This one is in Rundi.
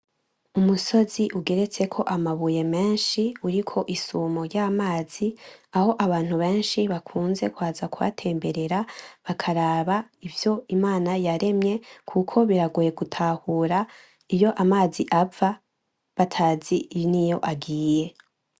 Umusozi ugeretseko amabuye menshi uriko isumo ryuruzi, ahabantu benshi bakunze kuzhatemberera bakaraba ivyo imanayaremye kuko biragoye gutahura iyo amazi ava batazi niyo agiye.